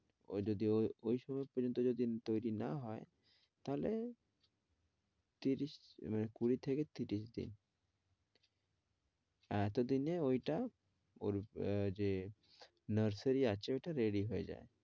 ঐ যদি ঐ সময় পর্যন্ত যদি তৈরী না হয় তাহলে ত্রিশ মানে কুড়ি থেকে ত্রিশ দিন। এতোদিনে ঐটা অরূপ আহ যে nursery আছে ঐটা ready হয়ে যায়